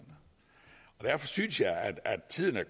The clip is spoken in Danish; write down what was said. derfor synes jeg at tiden er